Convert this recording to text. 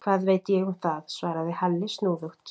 Hvað veit ég um það? svaraði Halli snúðugt.